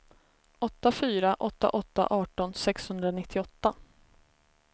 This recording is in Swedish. åtta fyra åtta åtta arton sexhundranittioåtta